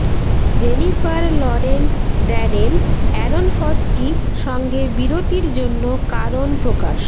Jennifer Lawrence Darren Aronofsky সঙ্গে বিরতির জন্য কারণ প্রকাশ